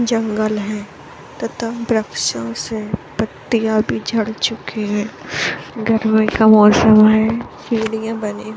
जंगल है तथा वृक्षो से पत्तियां भी झड़ चुकी है | गर्मी का मौसम है सीढियाँ बने --